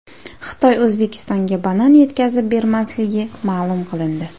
Xitoy O‘zbekistonga banan yetkazib bermasligi ma’lum qilindi.